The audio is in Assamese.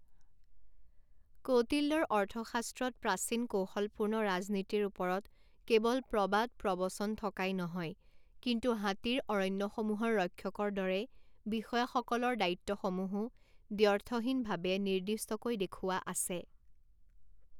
কৌটিল্যৰ অৰ্থশাস্ত্ৰত প্ৰাচীন কৌশলপূৰ্ণ ৰাজনীতিৰ ওপৰত কেৱল প্ৰবাদ প্ৰবচন থকাই নহয় কিন্তু হাতীৰ অৰণ্যসমূহৰ ৰক্ষকৰ দৰে বিষয়াসকলৰ দায়িত্বসমূহো দ্ব্যৰ্থহীনভাৱে নিৰ্দিষ্টকৈ দেখুওৱা আছে।